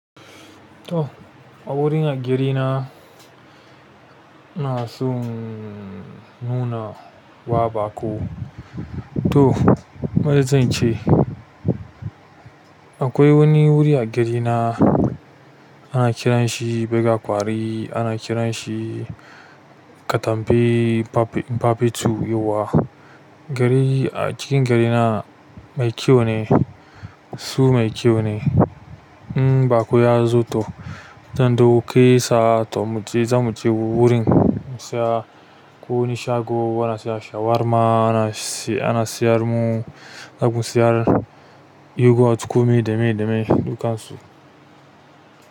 To a wurin a gidana ina son nuna wa baƙo. To, maye zance. Akwai wani wuri a gidana ana kiranshi baga kwari, ana kiranshi katampe pape twoyawwa. Gari a cikin gidana mai kyau ne, su mai kyau ne. Mm baƙo ya zo to, don ɗauki sa to mu je za mu je wurin mu siya ko wani shago ana siya shawarma ana si-ana siyar mu, za mu siyar yogurt kuma da mai da mai ɗukan su.